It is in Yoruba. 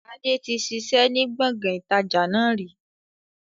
Adé tí ṣiṣẹ́ ni gbọ̀ngàn ìtajà náà rí